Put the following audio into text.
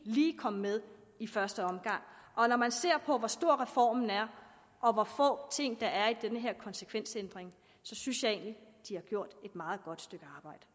lige kom med i første omgang og når man ser på hvor stor reformen er og hvor få ting der er i den her konsekvensændring synes jeg egentlig de har gjort et meget godt stykke